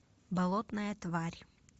болотная тварь